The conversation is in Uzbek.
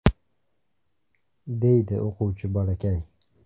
!”,– deydi o‘quvchi bolakay.